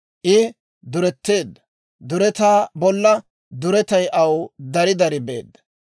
I duretteedda; duretaa bolla duretay aw dari dari beedda.